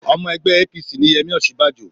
Ọmọ ẹgbẹ́ APC ni Yẹmí Osinbanjo